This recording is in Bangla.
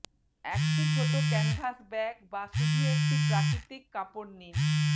একটি ছোট ক্যানভাস ব্যাগ বা শুধু একটি প্রাকৃতিক কাপড় নিন